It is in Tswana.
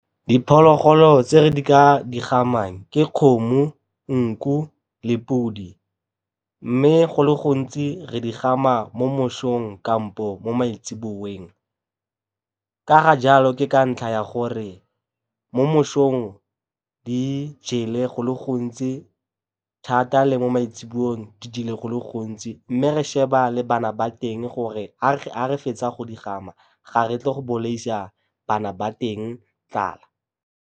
Diphologolo tse re ka di gamang ke kgomo, nku le podi, mme go le gontsi re di gama mo mosong kampo mo maitsiboeng. Ka ga jalo ke ka ntlha ya gore mo mosong di jele go le gontsi thata le mo maitseboeng di jele go le gontsi mme re sheba le bana ba teng gore ga re fetsa go di gama ga re tle go bolaisa bana ba teng tlala.